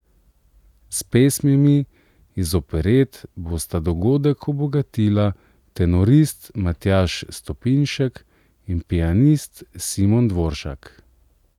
S pesmimi iz operet bosta dogodek obogatila tenorist Matjaž Stopinšek in pianist Simon Dvoršak.